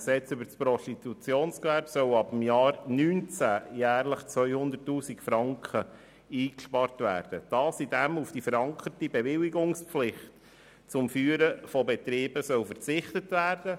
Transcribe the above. Mit der Massnahme 45.5.2 des Aufgabenverzichts im Rahmen des PGG sollen ab dem Jahr 2019 jährlich 200 000 Franken eingespart werden, indem auf die verankerte Bewilligungspflicht zum Führen von Betrieben verzichtet wird.